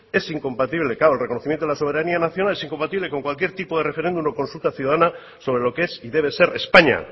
es incompatible claro el reconocimiento a la soberanía nacional es incompatible con cualquier tipo de referéndum o consulta ciudadana sobre lo que es y debe ser españa